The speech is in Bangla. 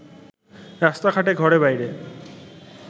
রাস্তা-ঘাটে ঘরে-বাইরে